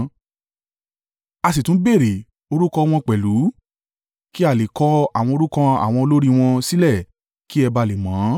A sì tún béèrè orúkọ wọn pẹ̀lú, kí a lè kọ àwọn orúkọ àwọn olórí wọn sílẹ̀ kí ẹ ba à le mọ ọ́n.